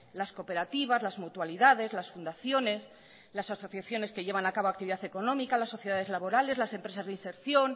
las cooperativas las mutualidades las fundaciones las asociaciones que llevan a cabo actividad económica las sociedades laborales las empresas de inserción